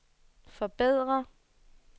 forbedre